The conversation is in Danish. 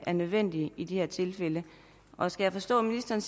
er nødvendig i det her tilfælde og skal jeg forstå ministeren